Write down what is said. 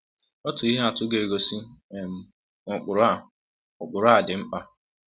Otu ihe atụ ga-egosi um na ụkpụrụ ụkpụrụ a dị mkpa.